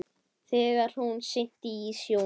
Þegar hún synti í sjónum.